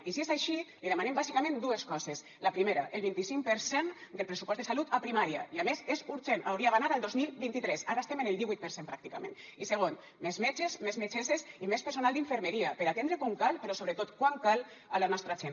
i si és així li demanem bàsicament dues coses la primera el vint i cinc per cent del pressupost de salut a primària i a més és urgent hauria d’anar al dos mil vint tres ara estem en el divuit per cent pràcticament i segon més metges més metgesses i més personal d’infermeria per atendre com cal però sobretot quan cal a la nostra gent